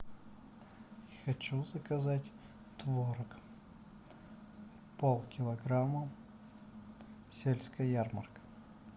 хочу заказать творог полкилограмма сельская ярмарка